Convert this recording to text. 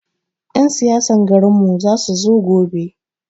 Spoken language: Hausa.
Yan siyasan garin mu za su zo gobe